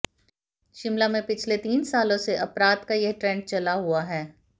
शिमला में पिछले तीन सालों से अपराध का यह ट्रेंड चला हुआ है